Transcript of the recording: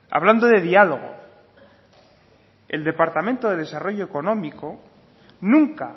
hablando de diálogo el departamento de desarrollo económico nunca